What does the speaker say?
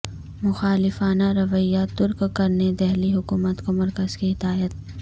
مخالفانہ رویہ ترک کرنے دہلی حکومت کو مرکز کی ہدایت